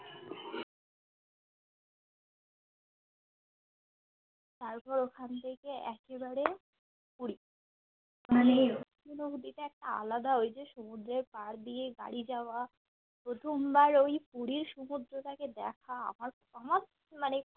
তারপর ওখান থেকে একেবারে পুরি মানে অনুভুতিটা একটা আলাদা ঐযে সমুদ্রের ধার দিয়ে গাড়ি যাওয়া প্রথম বার ওই পুরীর সমুদ্রটাকে দেখা আর তোমার মানে